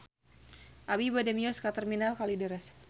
Abi bade mios ka Terminal Kalideres